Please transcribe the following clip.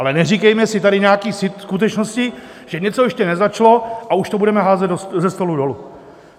Ale neříkejme si tady nějaké skutečnosti, že něco ještě nezačalo, a už to budeme házet ze stolu dolů.